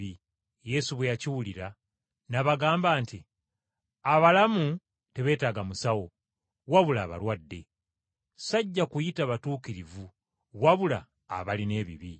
Yesu bwe yakiwulira n’abagamba nti, “Abalamu tebeetaaga musawo, wabula abalwadde! Sajja kuyita batuukirivu wabula abalina ebibi.”